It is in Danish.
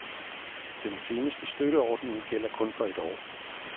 Den seneste støtteordning gælder kun for et år.